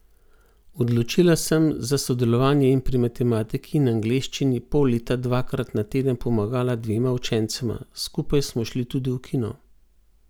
Odločila sem za sodelovanje in pri matematiki in angleščini pol leta dvakrat na teden pomagala dvema učencema, skupaj smo šli tudi v kino.